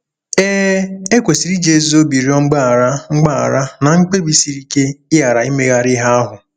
Ee, e kwesịrị iji ezi obi rịọ mgbaghara mgbaghara na mkpebi siri ike ịghara imegharị ihe ahụ.